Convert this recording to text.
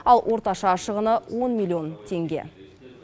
ал орташа шығыны он миллион теңге